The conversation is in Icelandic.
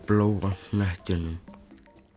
Bláa hnettinum